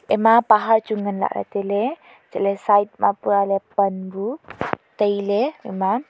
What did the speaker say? ema pahar chu ngan la le taile chatle side puma le pan nu taile ema.